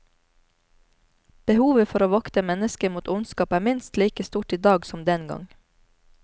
Behovet for å vokte mennesket mot ondskap, er minst like stort i dag som den gang.